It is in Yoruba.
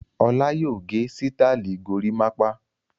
Ọlá yóò gẹ sítáálì gorímápá!